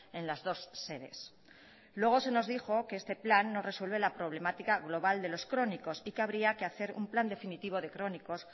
en las dos sedes luego se nos dijo que este plan no resuelve la problemática global de los crónicos y que habría que hacer un plan definitivo de crónicos